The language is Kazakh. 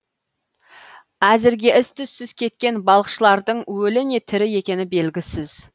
әзірге із түзсіз кеткен балықшылардың өлі не тірі екені белгісіз